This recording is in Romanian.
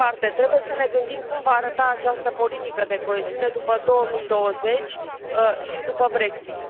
Trebuie să ne gândim cum va arăta această politică de coeziune după 2020 și după Brexit.